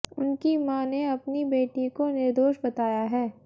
उनकी मां ने अपनी बेटी को निर्दोष बताया है